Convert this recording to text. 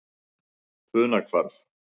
Funahvarfi